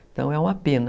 Então, é uma pena.